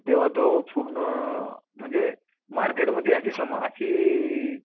तर तेंव्हा तो पूर्ण म्हणजे मार्केटमध्ये अशी अशी